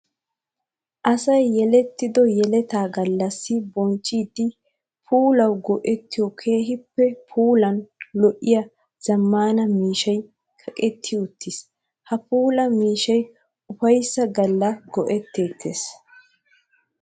Asay yeletiddo yeletta galassa bonchchidde puulawu go'ettiyo keehippe puulanne lo'iya zamaana miishshay kaqqetti uttiis. Ha puula miishsha ufayssa gala go'etetes.